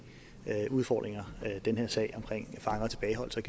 udfordringer den her sag omkring fanger og tilbageholdelse